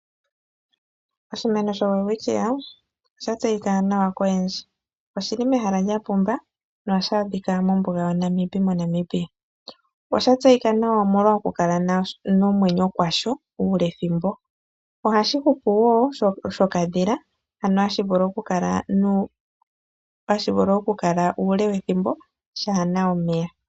Oshimeno shoWelwithia osha tseyika nawa koyendji. Oshili mehala lya pumba nohashi adhika mombunga yaNamib moNamibia. Osha tseyika nawa omolwa oku kala nomwenyo kwasho ule thimbo. Ohashi hupu shokadhila sho hashi vulu oku kala uule thimbo shaana omeya.